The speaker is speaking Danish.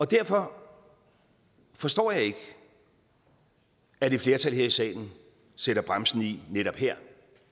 derfor forstår jeg ikke at et flertal her i salen sætter bremsen i netop her